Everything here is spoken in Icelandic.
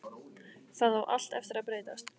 Það á allt eftir að breytast!